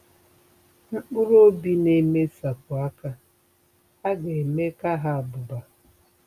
Mkpụrụ Obi Na-emesapụ Aka A Ga-eme Ka Ha Abuba